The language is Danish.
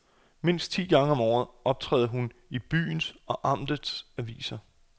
Mindst ti gange om året optræder hun i byens og amtets aviser.